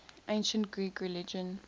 ancient greek religion